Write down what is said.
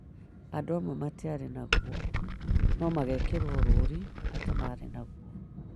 Andũ amwe matiarĩ naguo no magekĩrwo rũũri atĩ marĩ naguo